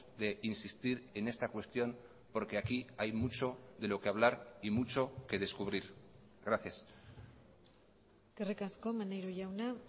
de insistir en esta cuestión porque aquí hay mucho de lo que hablar y mucho que descubrir gracias eskerrik asko maneiro jauna